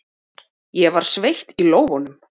Ég var sveitt í lófunum.